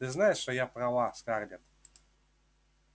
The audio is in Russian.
ты знаешь что я права скарлетт